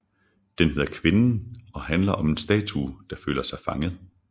Den hedder Kvinden og handler om en statue der føler sig fanget